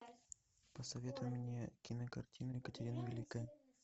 посоветуй мне кинокартину екатерина великая